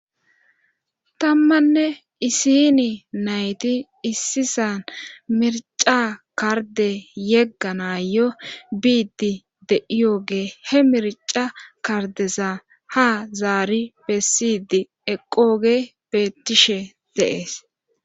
tammanne isini nayti issisan mirca karde yeggana yo biiddi deiyoge he mirca kardesa ha zaari bessidi eqooge betishe de'ees